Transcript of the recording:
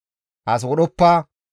« ‹As wodhoppa;